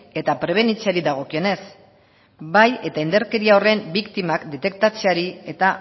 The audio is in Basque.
eta prebenitzeari dagokionez bai eta indarkeria horren biktimak detektatzeari eta